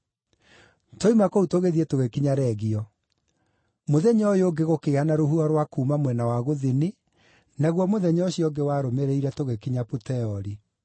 Twoima kũu tũgĩthiĩ tũgĩkinya Regio. Mũthenya ũyũ ũngĩ gũkĩgĩa na rũhuho rwa kuuma mwena wa gũthini, naguo mũthenya ũcio ũngĩ warũmĩrĩire tũgĩkinya Puteoli.